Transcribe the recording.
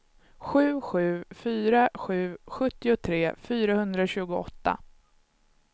sju sju fyra sju sjuttiotre fyrahundratjugoåtta